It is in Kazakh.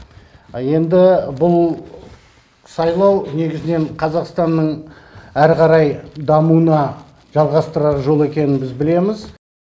енді бұл сайлау негізнен қазақстанның әрі қарай дамуына жалғастырар жол екенін біз білеміз